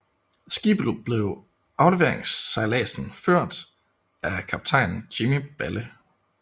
Skibet blev på afleveringsejladsen ført af kaptajn Jimmy Balle